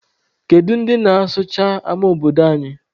Kedu ndị na-asụcha ama obodo anyị?